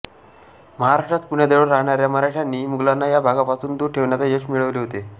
महाराष्ट्रात पुण्याजवळ राहणाऱ्या मराठ्यांनी मुघलांना या भागापासून दूर ठेवण्यात यश मिळवले होते